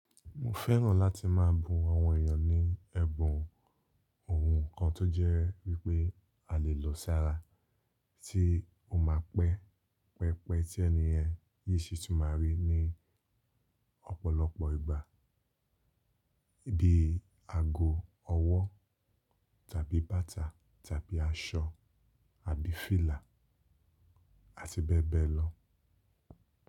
Mo fẹ́ràn láti máa bún àwọn èèyàn ní ẹ̀bùn ohun kan tó jẹ́ wípé a lè lòó sára tí ó máa pẹ́, pẹpẹ tí ẹniyen yoo ṣí tún máa rí ní ọ̀pọ̀lọpọ̀ ìgbà bíi aago ọwọ́ tàbí bàtà tàbí aṣọ àbí fìlà àti bẹ́ẹ̀ bẹ́ẹ̀ lọ.